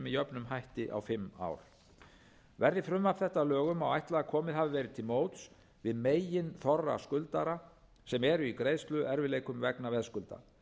jöfnum hætti á fimm ár verði frumvarp þetta að lögum má ætla að komið hafi verið til móts við meginþorra skuldara sem eru í greiðsluerfiðleikum vegna veðskulda